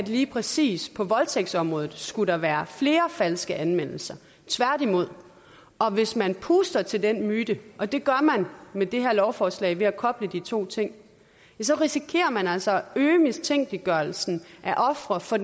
lige præcis på voldtægtsområdet skulle være flere falske anmeldelser tværtimod og hvis man puster til den myte og det gør man med det her lovforslag ved at koble de to ting risikerer man altså at øge mistænkeliggørelsen af ofre for